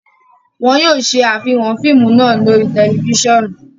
Wọn yoo ṣe afihan fiimu naa lori tẹlifisiọnu